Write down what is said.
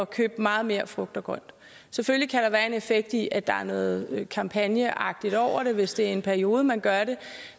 købe meget mere frugt og grønt selvfølgelig kan der være en effekt i at der er noget kampagneagtigt over det hvis det er i en periode man gør det